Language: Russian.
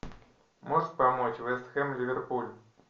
можешь помочь вест хэм ливерпуль